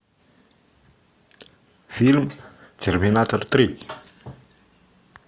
фильм терминатор три